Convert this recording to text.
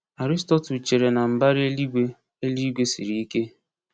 Aristotle chere na mbara eluigwe eluigwe siri ike.